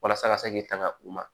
Walasa a ka se k'i tanga u ma